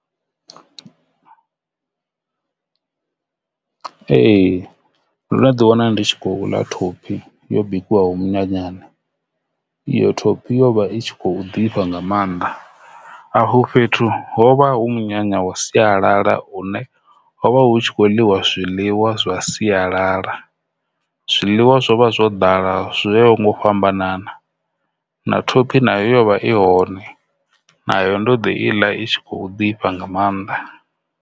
Ee, ndono ḓi wana ndi tshi khou ḽa thophi yo bikiwaho minyanyani iyo thophi yo vha i khou ḓifha nga maanḓa afho fhethu ho vha hu munyanya wa sialala une hovha hu tshi kho ḽiwa zwiḽiwa zwa sialala zwiḽiwa zwo vha zwo ḓala zwoyaho nga u fhambanana, na thophi na yovha i hone nayo ndo ḓi iḽa i tshi khou ḓifha nga maanḓa.